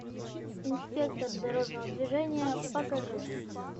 инспектор дорожного движения покажи